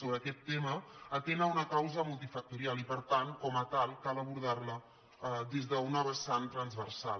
sobre aquest tema atén a una causa multifactorial i per tant com a tal cal abordar·la des d’una vessant transversal